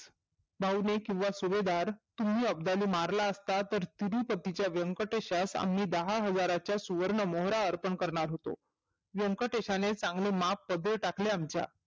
भाऊ, लेक व सुभेदार तुम्ही अबदाले मारला असतात तर तिरुपतीच्या व्यंकटेशास आम्ही दहा हजाराच्या सुवर्ण मोहरा अर्पण करणार होतो. व्यंकटेशाने चांगले माप पदरी टाकले आमच्या.